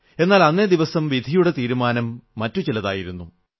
എന്നാൽ അന്നേ ദിവസം വിധിയുടെ തീരുമാനം മറ്റു ചിലതായിരുന്നു